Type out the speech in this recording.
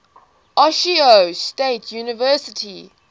ohio state university